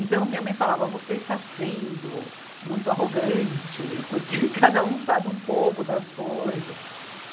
Então minha mãe falava, você está sendo muito arrogante, porque cada um sabe um pouco das coisas.